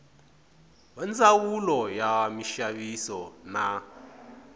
va ndzawulo ya minxaviso na